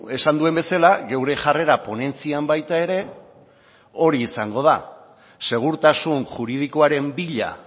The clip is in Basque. esan duen bezala geure jarrera ponentzian baita ere hori izango da segurtasun juridikoaren bila